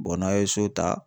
n'a' ye so ta